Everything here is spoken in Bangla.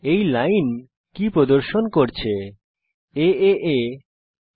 এই লাইন কি প্রদর্শন করছে এএ aaa